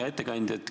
Hea ettekandja!